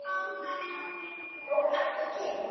Og Matt og Kim?